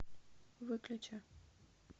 выключи